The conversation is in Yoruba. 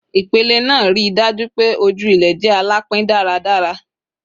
Ipele naa rii daju pe oju ilẹ jẹ alapin daradara